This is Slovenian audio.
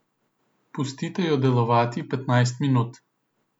Pustite jo delovati petnajst minut.